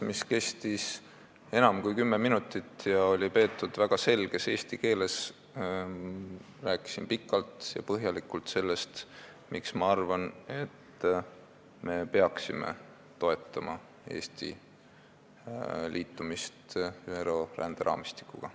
Oma väga selges eesti keeles peetud ettekandes, mis kestis enam kui kümme minutit, rääkisin pikalt ja põhjalikult sellest, miks ma arvan, et me peaksime toetama Eesti liitumist ÜRO ränderaamistikuga.